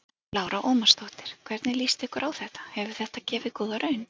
Lára Ómarsdóttir: Hvernig svona líst ykkur á þetta, hefur þetta gefið góða raun?